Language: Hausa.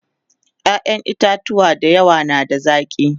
ƴaƴan itatuwa da yawa na da zaki